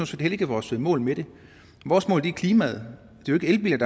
set heller ikke vores mål med det vores mål er klimaet det er jo ikke